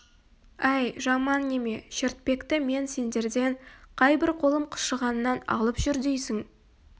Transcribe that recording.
әй жаман неме шертпекті мен сендерден қайбір қолым қышығаннан алып жүр дейсің